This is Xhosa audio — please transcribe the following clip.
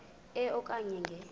e okanye nge